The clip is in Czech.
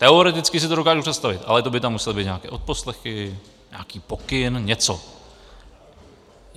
Teoreticky si to dokážu představit, ale to by tam musely být nějaké odposlechy, nějaký pokyn, něco.